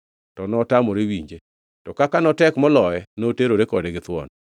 To notamore winje, to kaka notek moloye, noterore kode githuon.